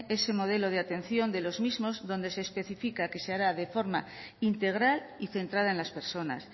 ese modelo de atención de los mismos donde se especifica que se hará de forma integral y centrada en las personas